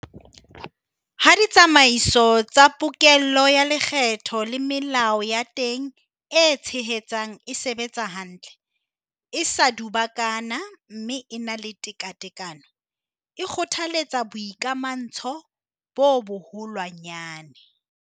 Ha ditsamaiso tsa pokello ya lekgetho le melao ya teng e tshehetsang e sebetsa hantle, e sa dubakana mme e na le tekatekano, e kgothaletsa boikamahantsho bo boholwanyane.